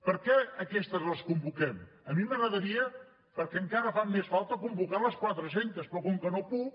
per què aquestes les convoquem a mi m’agradaria perquè encara fan més falta convocar les quatre centes però com que no puc